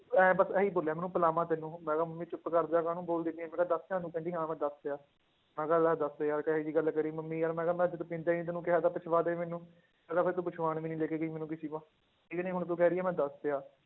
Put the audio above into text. ਇਉਂ ਬਸ ਇਹੀ ਬੋਲਿਆ ਮੈਨੂੰ ਪਿਲਾਵਾਂ ਤੈਨੂੰ ਮੈਂ ਕਿਹਾ ਮੰਮੀ ਚੁੱਪ ਕਰ ਜਾ ਕਾਹਨੂੰ ਬੋਲਦੀ ਪਈ ਹੈ, ਮੈਂ ਕਿਹਾ ਦੱਸ ਦਿੱਤਾ ਤੂੰ, ਕਹਿੰਦੀ ਹਾਂ ਮੈਂ ਦੱਸਿਆ ਮੈਂ ਕਿਹਾ ਲੈ ਦੱਸ ਯਾਰ ਕਿਹੀ ਜਿਹੀ ਗੱਲ ਕਰੀ ਮੰਮੀ ਯਾਰ ਮੈਂ ਕਿਹਾ ਮੈਂ ਜਦ ਪੀਂਦਾ ਹੀ ਨੀ ਤੈਨੂੰ ਕਿਹਾ ਤਾਂ ਪਿਛਵਾਦੇ ਮੈਨੂੰ, ਮੈਂ ਕਿਹਾ ਫਿਰ ਤੂੰ ਪੁੱਛਵਾਉਣ ਵੀ ਨੀ ਲੈ ਕੇ ਗਈ ਮੈਨੂੰ ਕਿਸੇ ਕੋਲ, ਠੀਕ ਨੀ ਹੁਣ ਤੂੰ ਕਹਿ ਰਹੀ ਹੈ ਮੈਂ ਦੱਸਿਆ,